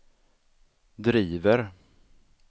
driver